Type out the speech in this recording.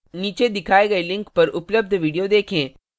नीचे दिखाए गए link पर उपलब्ध video देखें